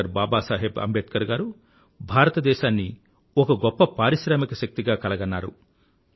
doctor Baba Saheb Ambedkar గారు భారతదేశాన్ని ఒక గొప్ప పారిశ్రామిక శక్తిగా కల గన్నారు